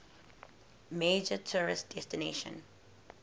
major tourist destination